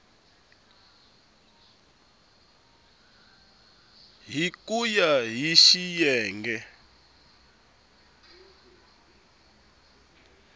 hi ku ya hi xiyenge